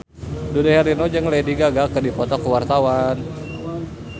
Dude Herlino jeung Lady Gaga keur dipoto ku wartawan